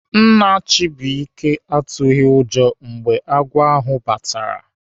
Nna Chubuike atụghị ụjọ mgbe agwọ ahụ batara.